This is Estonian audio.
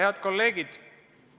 Head kolleegid!